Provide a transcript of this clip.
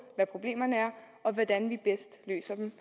hvad problemerne er og hvordan vi bedst løser dem